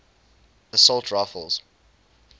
assault rifles